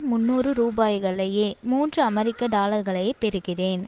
முன்னூறு ரூபாய்களையே மூன்று அமெரிக்க டாலர்களை பெறுகிறேன்